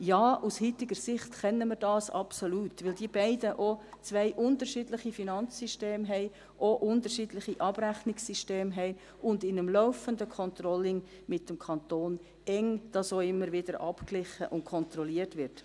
Ja, aus heutiger Sicht können wir dies absolut, da diese beiden Bereiche auch zwei unterschiedliche Finanzsysteme und auch unterschiedliche Abrechnungssysteme haben, und da dies in einem laufenden Controlling mit dem Kanton auch immer wieder eng abgeglichen und kontrolliert wird.